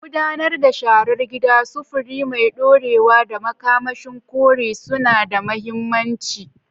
Gudanar da sharar gida, sufuri mai dorewa, da makamashin kore suna da mahimmanci.